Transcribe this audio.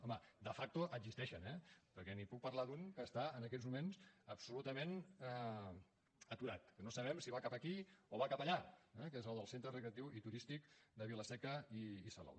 home de facto existeixen eh perquè li puc parlar d’un que està en aquests moments absolutament aturat que no sabem si va cap aquí o va cap allà que és el del centre recreatiu i turístic de vila seca i salou